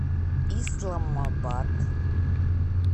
исламабад